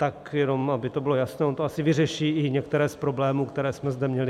Tak jenom aby to bylo jasné, ono to asi vyřeší i některé z problémů, které jsme zde měli.